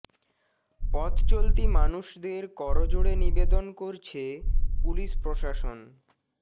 পথ চলতি মানুষদের কর জোড়ে নিবেদন করছে পুলিশ প্রশাসন